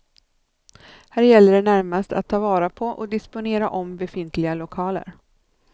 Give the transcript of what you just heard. Här gäller det närmast att ta vara på och disponera om befintliga lokaler.